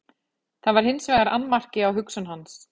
það var hins vegar annmarki á hugsun hans